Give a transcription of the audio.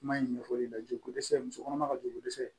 Kuma in ɲɛfɔli la joli ko dɛsɛ muso kɔnɔma ka joli ko dɛsɛ